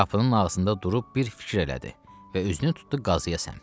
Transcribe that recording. Qapının ağzında durub bir fikir elədi və üzünü tutdu qazıyə səmt.